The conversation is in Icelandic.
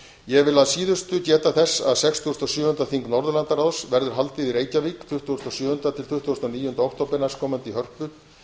ég vil að síðustu geta þess að sextugasta og sjöunda þing norðurlandaráðs verður haldið í reykjavík tuttugasta og sjöunda til tuttugasta og níunda október næstkomandi í hörpu